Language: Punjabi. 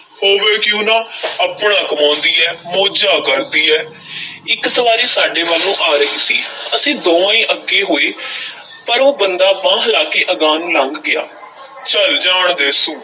ਹੋਵੇ ਕਿਉਂ ਨਾ ਆਪਣਾ ਕਮਾਉਂਦੀ ਐ, ਮੌਜਾਂ ਕਰਦੀ ਐ ਇੱਕ ਸਵਾਰੀ ਸਾਡੇ ਵੱਲ ਨੂੰ ਆ ਰਹੀ ਸੀ, ਅਸੀਂ ਦੋਵੇਂ ਈ ਅੱਗੇ ਹੋਏ ਪਰ ਉਹ ਬੰਦਾ ਬਾਂਹ ਹਿਲਾ ਕੇ ਅਗਾਂਹ ਨੂੰ ਲੰਘ ਗਿਆ ਚੱਲ ਜਾਣ ਦੇ ਸੁ।